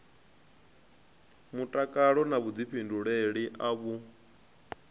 mutakalo na vhuḓifhinduleli a vhu